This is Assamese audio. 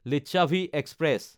লিচ্ছাভি এক্সপ্ৰেছ